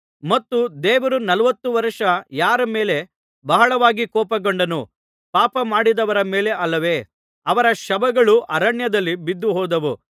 ಮತ್ತು ದೇವರು ನಲವತ್ತು ವರ್ಷ ಯಾರ ಮೇಲೆ ಬಹಳವಾಗಿ ಕೋಪಗೊಂಡನು ಪಾಪ ಮಾಡಿದವರ ಮೇಲೆ ಅಲ್ಲವೇ ಅವರ ಶವಗಳು ಅರಣ್ಯದಲ್ಲಿ ಬಿದ್ದುಹೋದವು